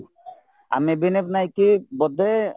ଆମେ ନାଇକି ବୋଧେ